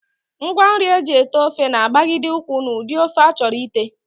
Ngwanri e ji ete ofe na-agbagide ụkwụ n'ụdị ofe a chọrọ ite